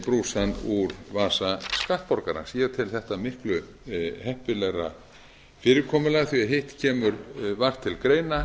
brúsann úr vasa skattborgarans ég tel þetta miklu heppilegra fyrirkomulag því hitt kemur vart til greina